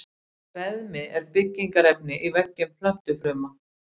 Beðmi er byggingarefni í veggjum plöntufruma.